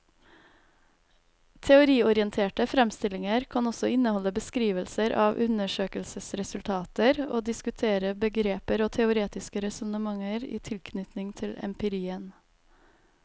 Teoriorienterte fremstillinger kan også inneholde beskrivelser av undersøkelsesresultater og diskutere begreper og teoretiske resonnementer i tilknytning til empirien.